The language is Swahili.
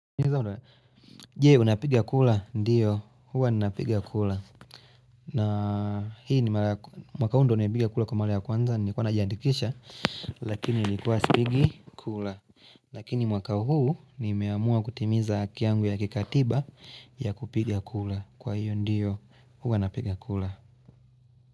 Jee unapigia kula, ndiyo, huwa unapigia kula na hii ni mwaka hundo unapigia kula kwa male ya kwanza ni kwa najiandikisha Lakini ilikuwa spigi kula Lakini mwaka huu ni meamua kutimiza akiangu ya kikatiba ya kupigia kula Kwa hiyo ndiyo, huwa unapigia kula.